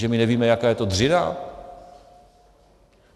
Že my nevíme, jaká je to dřina?